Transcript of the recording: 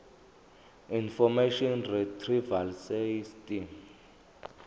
information retrieval system